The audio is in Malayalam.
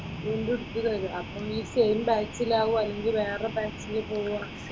വീണ്ടും എടുത്ത് തരും, അപ്പൊ ഇനി സെയിം ബാച്ചിലാകുമോ അല്ലെങ്കിൽ വേറെ ബാച്ചിൽ പോവുമോ?